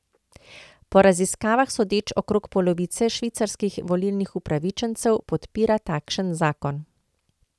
Po raziskavah sodeč okrog polovice švicarskih volilnih upravičencev podpira takšen zakon.